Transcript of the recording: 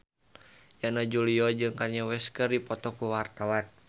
Yana Julio jeung Kanye West keur dipoto ku wartawan